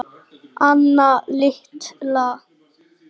Anna litla.